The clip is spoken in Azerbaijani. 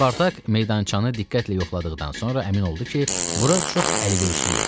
Spartak meydançanı diqqətlə yoxladıqdan sonra əmin oldu ki, bura çox əlverişli yerdir.